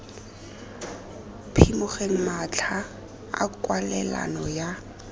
phimogeng matlha a kwalelano ya